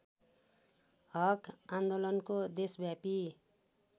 हक आन्दोलनको देशव्यापी